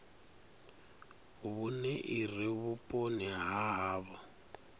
vhune ire vhuponi ha havho